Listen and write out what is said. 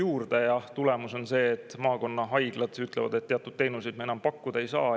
on see, et maakonnahaiglad ütlevad, et teatud teenuseid nad enam pakkuda ei saa.